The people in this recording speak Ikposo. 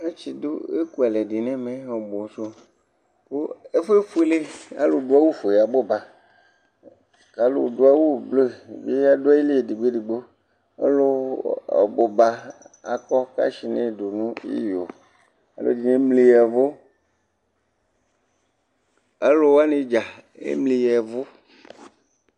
atsi du eku alɛ di n'ɛmɛ ɔbu sò kò ɛfu yɛ efuele alò du awu fuele abò ba k'alò do awu blu bi adu ayili edigbo edigbo alò ɔbuba akɔ kashnɛ do no iyo alò ɛdini emli ya vu alò wani dza emli ya vu